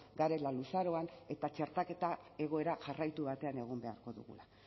garela luzaroan eta txertaketa egoera jarraitu batean egon beharko dugula